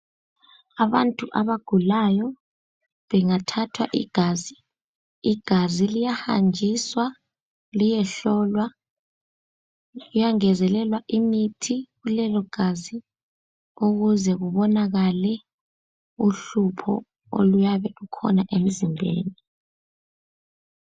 Abantu abagulayo bengathathwa igazi ,igazi liyahanjiswa liyehlolwa. Kuyangezelelwa imithi kulelo gazi ukuze kubonakale uhlupho oluyabe lukhona emzimbeni.